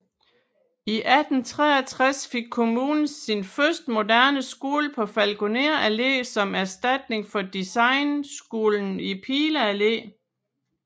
I 1863 fik kommunen sin første moderne skole på Falkoner Allé som erstatning for degneskolen i Pile Allé